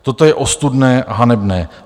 Toto je ostudné a hanebné.